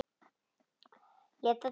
Lét það duga.